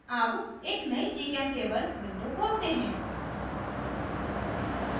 अब एक नयी gchemtable window खोलते हैं